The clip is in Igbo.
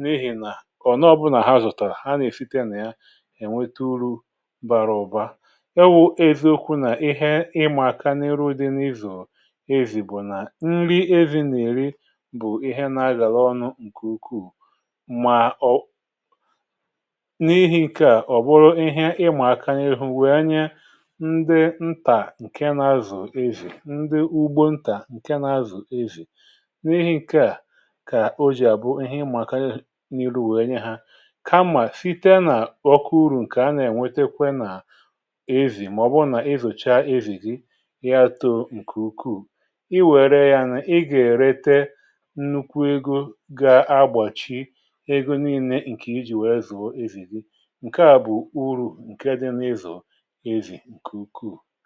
n’ihì nà ọ̀ nọọbụnà ha zụ̀tàrà ha nà-èfite nà ya ènwete uru̇ bara ụ̀ba ewu eziokwu nà ihe ịmà aka n’ịrụ̇ dị n’izù ezì bụ̀ nà nri ezì nà-èri bụ̀ ihe nà-agàla ọnụ̇ ǹkè ukwuù mà ọ n’ihi̇ ǹkè à ọ̀ bụrụ ihe ịmà aka nyehu̇ ndị ntà ǹke nȧ-ȧzụ̀ ezì ndị ugbo ntà ǹke nȧ-ȧzụ̀ ezì n’ihi̇ ǹkè à kà o jì àbụ ihe ịmàkanyị n’iru nwèe nye ha kamà site nà ọkụ uru̇ ǹkè a nà-ènwetekwe nà ezì màọbụ nà-izòcha ezìdì ya too ǹkè ukwuù i wère ya nà ị gà-èrete nnukwu egȯ ga-agbàchị ego nille ǹkè ijì wère zùo ezìdì ǹke à bụ̀ uru̇ ǹke dị n’izù ǹkù